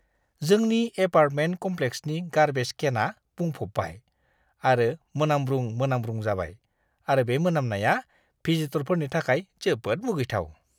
जोंनि एपार्टमेन्ट कम्प्लेक्सनि गार्बेज केनआ बुंफब्बाय आरो मोनामब्रुं-मोनाब्रुं जाबाय आरो बे मोनामनाया भिजिटरफोरनि थाखाय जोबोद मुगैथाव!